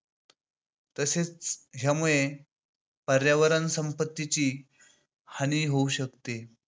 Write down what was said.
तसेच यामुळे पर्यावरण संपत्तीची हानी होऊ शकते.